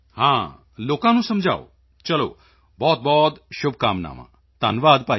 ਹਾਂ ਲੋਕਾਂ ਨੂੰ ਸਮਝਾਓ ਚਲੋ ਬਹੁਤਬਹੁਤ ਸ਼ੁਭਕਾਮਨਾਵਾਂ ਧੰਨਵਾਦ ਭਾਈ